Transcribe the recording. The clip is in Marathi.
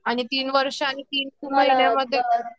आणि तीच वर्षांनी